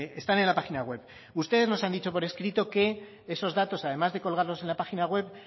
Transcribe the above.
están en la página web ustedes nos han dicho por escrito que esos datos además de colgarlos en la página web